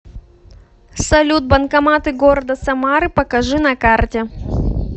салют банкоматы города самары покажи на карте